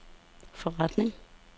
forretning